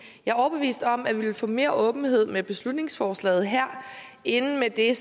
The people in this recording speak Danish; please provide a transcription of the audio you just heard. overbevist om at vi ville få mere åbenhed med beslutningsforslaget her end med det